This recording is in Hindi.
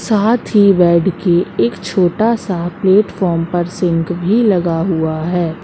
साथ ही बेड की एक छोटा सा प्लेटफार्म पर सिंक भी लगा हुआ है।